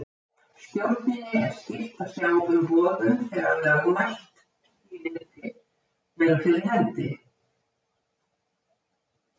Stjórninni er skylt að sjá um boðun þegar lögmælt skilyrði eru fyrir hendi.